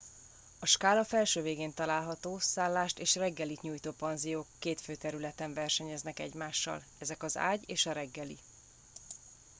a skála felső végén található szállást és reggelit nyújtó panziók két fő területen versenyeznek egymással ezek az ágy és a reggeli